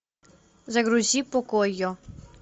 загрузи покойо